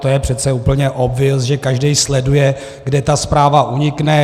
To je přece úplně obvious, že každý sleduje, kde ta zpráva unikne.